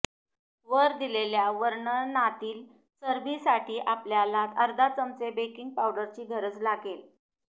वर दिलेल्या वर्णनातील चरबीसाठी आपल्याला अर्धा चमचे बेकिंग पावडरची गरज लागेल